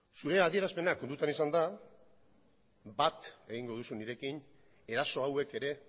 zure adierazpena kontutan izanda bat egingo duzu nirekin eraso hauek ere